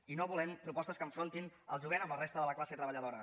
i no volem propos tes que enfrontin el jovent amb la resta de la classe treballadora